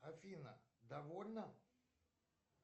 афина довольна